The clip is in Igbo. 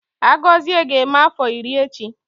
Agozie ga-eme afọ iri echi